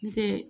N tɛ